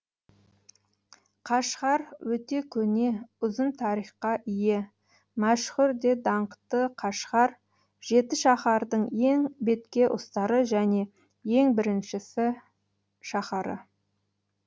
қашғар өте көне ұзын тарихқа ие мәшһүр де даңқты қашғар жетішаһардың ең бетке ұстары және ең біріншісі шаһары